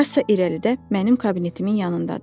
Kassa irəlidə mənim kabinetimin yanındadır.